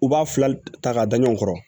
U b'a fila ta k'a da ɲɔgɔn kɔrɔ